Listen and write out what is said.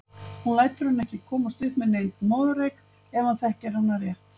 Hún lætur hann ekki komast upp með neinn moðreyk ef hann þekkir hana rétt.